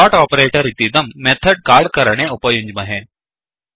dot operator इतीदं method call करणे उपयुञ्ज्महे